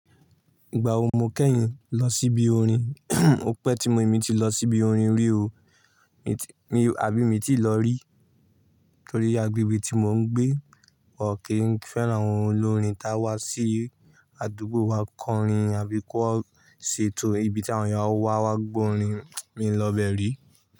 Ìgbà wo mo kẹ́yìn lọ síbi orin? Ò pẹ tí mo, èmi ti lọ síbi orin rí o, èmi tí, àbí mii ti lọ rí? Nítorí agbègbè tí mò ń gbé, wọ́n kì í n fẹ́ràn àwọn olórin tá wá sí àdúgbò wa kọ orin àbí kọ ṣe ètò ibi tí àwọn èèyàn awa wa gbọ́ orin, mí lọ bẹ̀ rí.